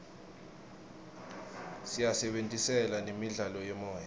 siyisebentisela nemidlalo yemoya